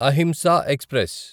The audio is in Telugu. అహింసా ఎక్స్ప్రెస్